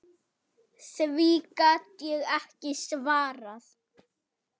Því gat ég ekki svarað.